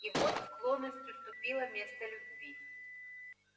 и вот склонность уступила место любви